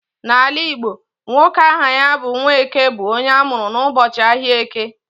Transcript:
N'ala Igbo, nwoke aha ya bụ 'Nwaeke' bụ onye amụrụ n'ụbọchị ahịa Eke